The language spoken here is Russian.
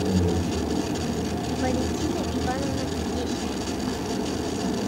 валентина ивановна есина